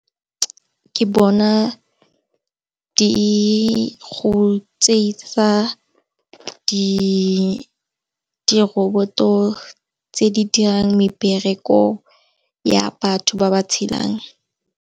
Ke bona di go tsietsa diroboto tse di dirang mebereko ya batho ba ba tshelang.